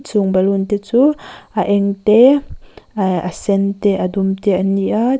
chung baloon a chu eng te ehh a sen te a dum te an ni a--